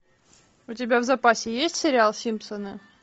у тебя в запасе есть сериал симпсоны